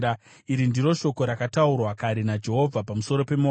Iri ndiro shoko rakataurwa kare naJehovha pamusoro peMoabhu.